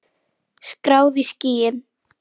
Skráð í skýin.